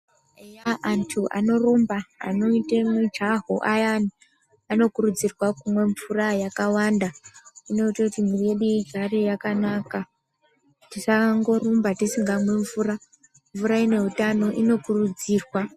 Eya antu anorumba, anoita mujaho ayani anokurudzirwa kumwa mvura yakawanda. Inoite kuti miiri yedu igare yakanaka, tisangorumba tisingamwi mvura. Mvura ineutano inokurudzirwa.